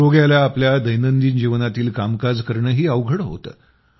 रोग्याला आपल्या दैनंदिन जीवनातील कामकाज करणंही अवघड होतं